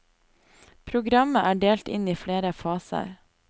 Programmet er delt inn i flere faser.